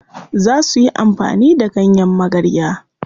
Za suyi amfani da ganyen magarya.